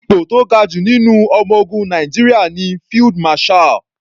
Ipò tó ga jù nínú ọmọ ogun Nàìjíríà ní Field Marshall.